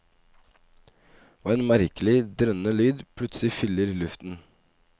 Og en merkelig, drønnende lyd plutselig fyller luften.